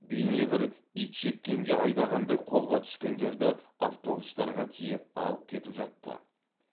бейне бір итжеккенге айдағандай қолға түскендерді автобустарға тиеп алып кетіп жатты